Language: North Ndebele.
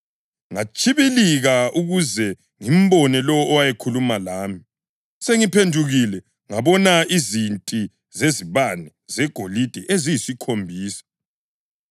Ngatshibilika ukuze ngimbone lowo owayekhuluma lami. Sengiphendukile ngabona izinti zezibane zegolide eziyisikhombisa,